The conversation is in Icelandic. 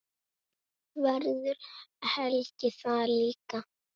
Verður Helgi þar líka?